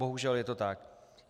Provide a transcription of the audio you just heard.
Bohužel, je to tak.